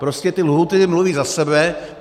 Prostě ty lhůty mluví za sebe.